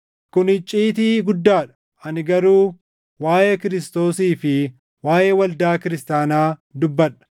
Kun icciitii guddaa dha; ani garuu waaʼee Kiristoosii fi waaʼee waldaa kiristaanaa dubbadha.